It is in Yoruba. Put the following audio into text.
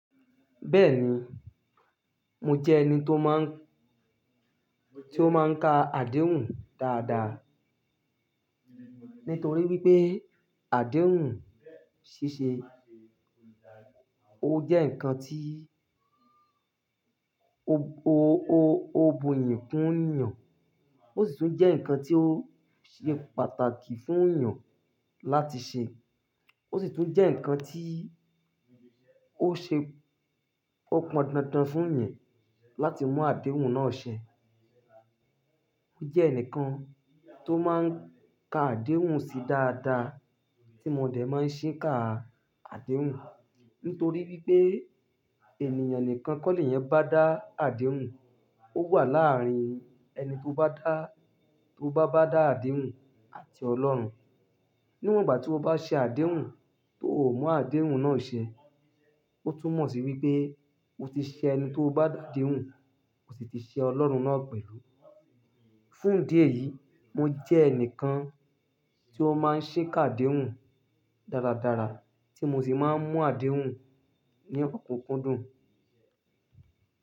Bẹ́ẹ̀ni, mo jẹ́ ẹni tó máa ń, tí ó máa ń ka àdéhùn dáadáa. Nítorí wípé àdéhùn ṣíṣe, ó jẹ́ ǹkan tí ó, ó, ó, ó bọ̀ iyi kún eniyan, ó sì tún jẹ́ ǹkan tí ó ṣe pàtàkì fún ènìyàn láti ṣe. Ó sì tún jẹ́ ǹkan tí ó ṣe, ó pọndandan fún ẹ́ yẹn láti mú àdéhùn náà ṣe. Ó mo je ẹnìkan tó máa ń ka àdéhùn sí dáadáa, tí mo dẹ̀ máa ń ṣìkà àdéhùn. Nítorí wípé ènìyàn nìkan kọ́ lè yẹn bá dá àdéhùn. Ó wà láàárín ẹni tó bá dá, tó bá bá dá àdéhùn àti Ọlọ́run. Níwọ̀n ìgbà tí ó bá ṣe àdéhùn tó ò mú àdéhùn náà ṣe, ó tún mọ̀ sí wípé ó ti ṣe ẹni tó bá dá àdéhùn, kò sì ti ṣe Ọlọ́run náà pẹ̀lú. Fún ìdí èyí, mo jẹ́ ẹnìkan tí ó máa ń ṣìká àdéhùn dáradára, tí mo sì máa ń mú àdéhùn ní ọ̀kunkun dùn.